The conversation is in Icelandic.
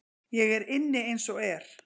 Ég er inni eins og er.